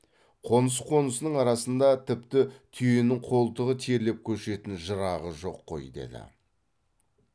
қоныс қонысының арасында тіпті түйенің қолтығы терлеп көшетін жырағы жоқ қой деді